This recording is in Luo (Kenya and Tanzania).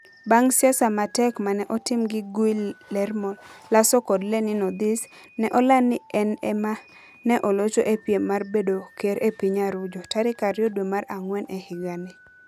Bang ' siasa ma tek ma ne otim gi Guillermo Lasso kod LeninOdhis, ne oland ni en ema ne olocho e piem mar bedo ker e piny Arujo, tarik 2 dwe mar ang'wen e higani.